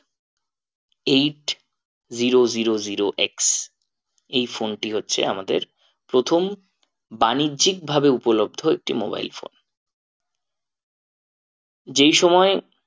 Eight zero zero zero x এই phone টি হচ্ছে আমাদের প্রথম বাণিজ্যিক ভাবে উপলব্ধ একটি mobile phone যেই সময়ে